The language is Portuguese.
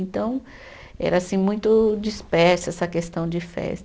Então, era assim, muito dispersa essa questão de festa.